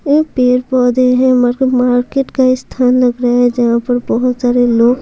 ये पेड़ पौधे हैं मरक मार्केट का स्थान लग रहा है जहां पर बहुत सारे लोग--